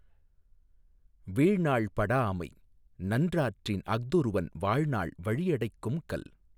வீழ்நாள் படாஅமை நன்றாற்றின் அஃதொருவன் வாழ்நாள் வழியடைக்கும் கல்.